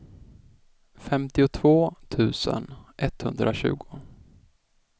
femtiotvå tusen etthundratjugo